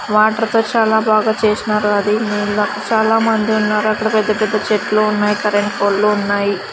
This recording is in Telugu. వాటర్ తో చాలా బాగా చేస్నారు అది నీళ్లక్ చాలామంది ఉన్నారు అక్కడ పెద్ద పెద్ద చెట్లు ఉన్నాయి కరెంట్ పోల్ లు ఉన్నాయి.